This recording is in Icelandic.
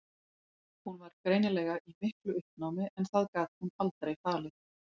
Hún var greinilega í miklu uppnámi en það gat hún aldrei falið.